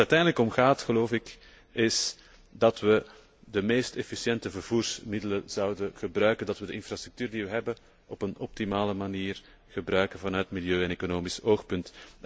Waar het uiteindelijk om gaat, geloof ik, is dat we de meest efficiënte vervoersmiddelen gebruiken en dat we de infrastructuur die we hebben op een optimale manier gebruiken vanuit milieu en economisch oogpunt.